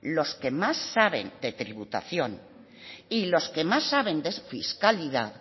los que más saben de tributación y los que más saben de fiscalidad